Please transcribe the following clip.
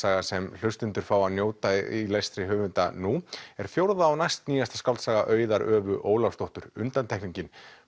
sem hlustendur fá að njóta í lestri höfunda nú er fjórða og skáldsaga Auðar Ólafsdóttur undantekningin